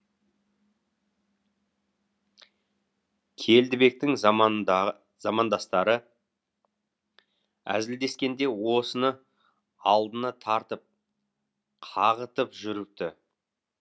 келдібектің замандастары әзілдескенде осыны алдына тартып қағытып жүріпті